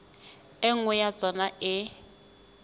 e nngwe ya tsona e